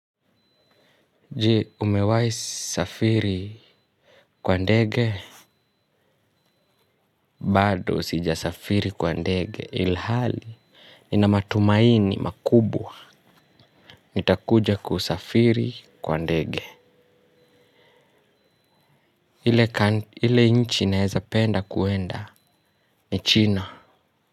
Jee umewahi safiri kwa ndege bado sija safiri kwa ndege ilhali ni na matumaini makubwa nitakuja kusafiri kwa ndege ile nchi naeza penda kuenda ni china.